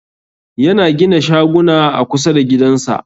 Yana gina shaguna a kusa da gidansa.